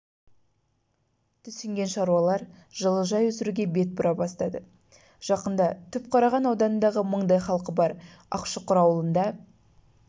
түсінген шаруалар жылыжай өсіруге бет бұра бастады жақында түпқараған ауданындағы мыңдай халқы бар ақшұқыр ауылында